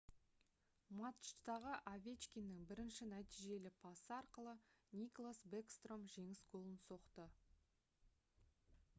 матчтағы овечкиннің бірінші нәтижелі пасы арқылы никлас бэкстром жеңіс голын соқты